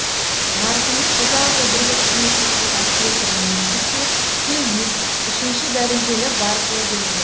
марқұммен ұзақ жыл бірге қызметтес болған петр ницыкке де үшінші дәрежелі барыс ордені берілді